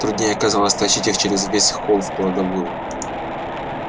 труднее оказалось тащить их через весь холл в кладовую